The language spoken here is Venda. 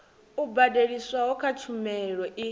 yo badeliswaho kha tshumelo i